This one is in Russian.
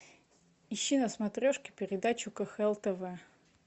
ищи на смотрешке передачу кхл тв